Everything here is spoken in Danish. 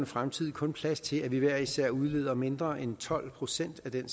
fremtid kun plads til at vi hver især udleder mindre end tolv procent af den